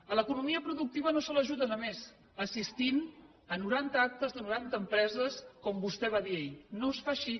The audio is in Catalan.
a l’economia productiva no se l’ajuda només assistint a noranta actes de noranta empreses com vostè va dir ahir no es fa així